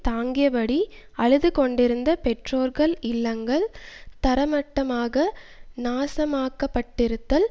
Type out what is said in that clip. தாங்கியபடி அழுது கொண்டிருந்த பெற்றோர்கள் இல்லங்கள் தரைமட்டமாக நாசமாக்கப்பட்டிருந்தல்